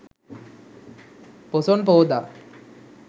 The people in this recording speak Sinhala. පොසොන් පෝදා